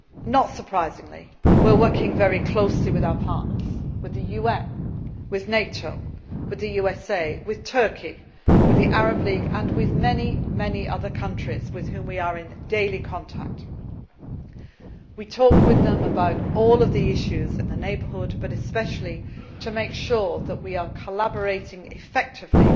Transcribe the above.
war crimes. Not surprisingly, we are working very closely with our partners with the UN, with NATO, with the USA, with Turkey, with the Arab League and with many, many other countries with whom we are in daily contact. We talk with them about all of the issues in the Southern Neighbourhood but, especially, to make sure that we are collaborating